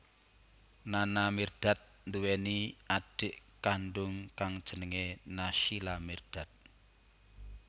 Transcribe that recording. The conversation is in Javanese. Nana Mirdad nduwèni adhik kandung kang jenengé Naysila Mirdad